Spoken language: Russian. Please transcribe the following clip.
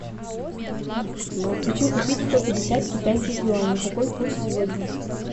хочу купить сто пятьдесят китайских юаней какой курс сегодня